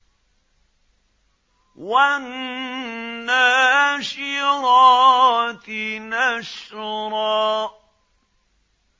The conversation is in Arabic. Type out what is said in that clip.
وَالنَّاشِرَاتِ نَشْرًا